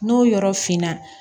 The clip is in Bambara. N'o yɔrɔ finna